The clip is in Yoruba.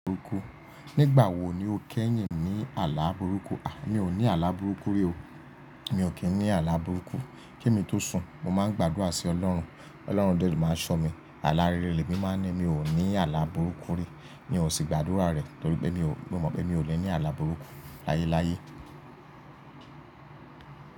Nígbà wo ni o kẹ́yìn ní àlá burúkú? Mi ò ní àlá burúkú rí o. Mi ò kín ní àlá burúkú. Kí èmi tó sùn, mo máa ń gbàdúrà sí ọlọ́run. Ọlọ́run dẹ́ lo máa ṣọ mí. Àlá rere le mi máa ń ni mí ò ní àlá burúkú rí. Mi ò sì gbàdúrà rẹ̀ torí pé mi ò mọ̀ pé mi ò lè ní àlá burúkú láyé láyé.